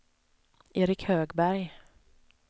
Erik Högberg